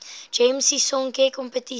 gems sisonke kompetisie